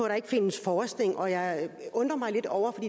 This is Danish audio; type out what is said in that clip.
der ikke findes forskning og jeg undrer mig lidt over det